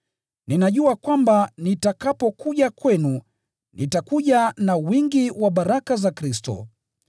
Ninajua kwamba nitakapokuja kwenu, nitakuja na wingi wa baraka za Kristo.